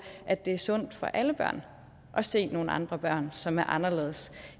at det er sundt for alle børn at se nogle andre børn som er anderledes